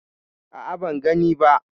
A'a ban gani ba.